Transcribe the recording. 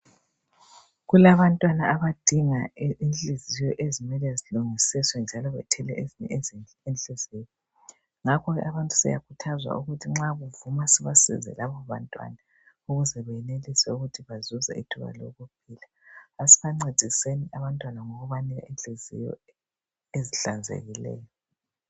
Kulabantwana abadinga inhliziyo ezimele zilungisiswe njalo bathole ezinye inhliziyo ngakho abantu siyakhuthazwa ukuthi nxa kuvuma asibasize laba bantwana ukuze benelise ukuthi bazuze ithuba lokuphila. Asibancediseni abantwana ngokubanika inhliziyo ezihlanzekileyo.